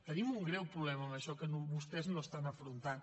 tenim un greu problema amb això que vostès no estan afrontant